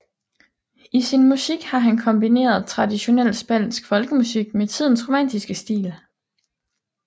I sin musik har han kombineret traditionel spansk folkemusik med tidens romantiske stil